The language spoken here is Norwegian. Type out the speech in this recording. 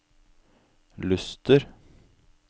Luster